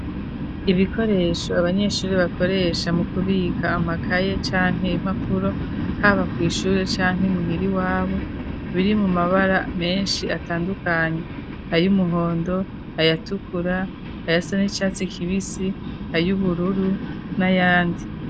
ibikoresho abanyeshuri bakoresha mu kubika amakaye canke impapuro, haba ku ishure canke muhira iwabo, biri mu mabara menshi atandukanye ay'umuhondo, ayatukura ayasa n' icatsi kibisi ay'ubururu n'ayandi.